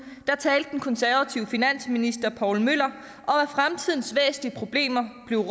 talte den konservative finansminister poul møller om at fremtidens væsentlige problemer blev